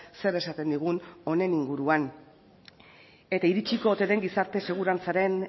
zer esaten digun honen inguruan eta iritsiko ote den gizarte segurantzaren